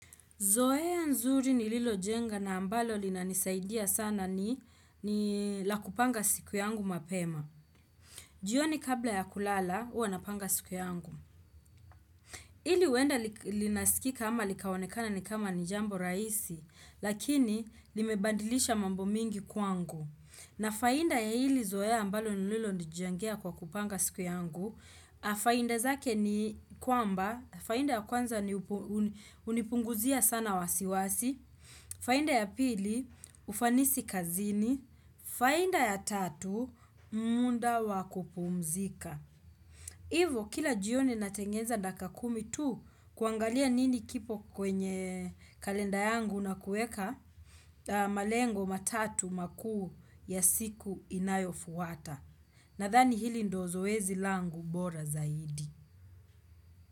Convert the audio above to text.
Zoea nzuri ni lilo jenga na ambalo lina nisaidia sana ni la kupanga siku yangu mapema. Jioni kabla ya kulala, uwa napanga siku yangu. Hili uenda linasikika ama likawonekana ni kama ni jambo rahisi, lakini limebandilisha mambo mingi kwangu. Na faida ya hili zoea ambalo ni lilo nijengea kwa kupanga siku yangu, faida zake ni kwamba, faida ya kwanza ni unipunguzia sana wasiwasi faida ya pili, ufanisi kazini faida ya tatu, muda wa kupumzika Hivo, kila jioni natengeza dakaika kumi tu kuangalia nini kipo kwenye kalenda yangu na kueka malengo matatu makuu ya siku inayo fuwata Nadhani hili ndo zoezi langu bora zaidi.